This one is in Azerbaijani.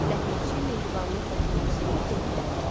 Ləpirçi mehribanlıqla gülümsünüb dedi: